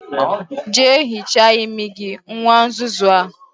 Jea hichaa imi gi, nwa nzuzu a